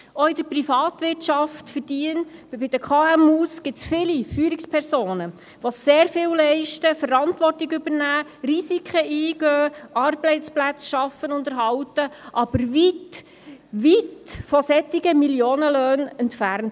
Auch in der Privatwirtschaft, in den KMU, gibt es viele Führungspersonen, die sehr viel leisten, Verantwortung übernehmen, Risiken eingehen, Arbeitsplätze schaffen und erhalten, aber weit, weit von solchen Millionenlöhnen entfernt.